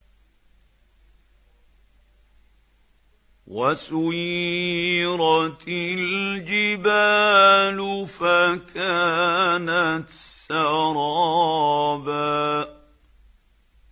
وَسُيِّرَتِ الْجِبَالُ فَكَانَتْ سَرَابًا